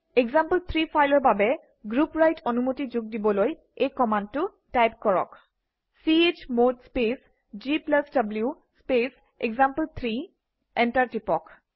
example three ফাইলৰ বাবে group write অনুমতি যোগ দিবলৈ এই কমাণ্ডটো টাইপ কৰক - চমদ স্পেচ gw স্পেচ এক্সাম্পল3 এণ্টাৰ টিপক